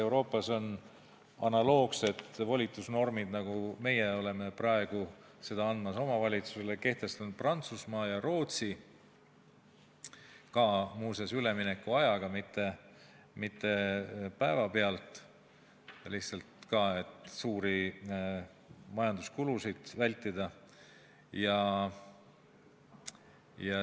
Euroopas on analoogsed volitusnormid, nagu meie oleme praegu oma valitsusele andmas, kehtestatud Prantsusmaal ja Rootsis – muuseas, samuti üleminekuajaga, mitte päevapealt, et suuri majanduskulusid vältida.